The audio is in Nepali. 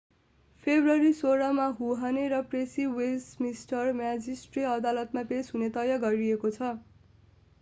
फेब्रुअरी 16 मा हुहने र प्रेसी वेस्टमिन्स्टर म्याजिस्ट्रेट अदालतमा पेश हुने तय गरिएको छ